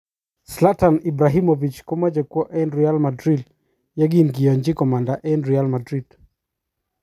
Zlatan Ibrahimovic komoche kwo Real Madrid yekinkiyonchi komanda eng Real Madrid .